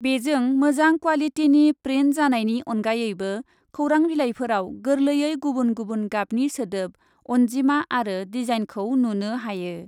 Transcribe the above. बेजों मोजां क्वालिटिनि प्रिन्ट जानायनि अनगायैबो खौरांबिलाइफोराव गोरलैयै गुबुन गुबुन गाबनि सोदोब, अन्जिमा आरो डिजाइनखौ नुनो हायो ।